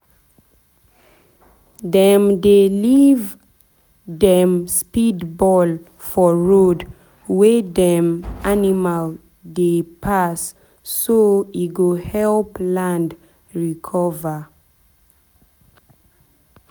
dem dey leave dey leave dem speedball for road wey dem animal dey pass so e go help land recover.